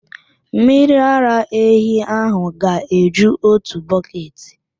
Mmiri ara ehi ahụ ga-eju otu bọketị.